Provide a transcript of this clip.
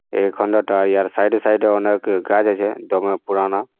এখানটাটায় আর সাইড এ সাইড এ অনেক গাছ আছে ডোমে পুরানা ।